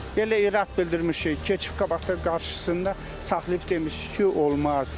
Belə irad bildirmişik, keçif qabaqdan qarşısında saxlayıb demişik ki, olmaz.